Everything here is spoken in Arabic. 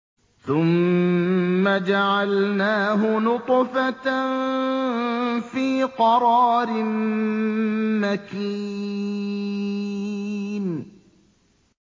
ثُمَّ جَعَلْنَاهُ نُطْفَةً فِي قَرَارٍ مَّكِينٍ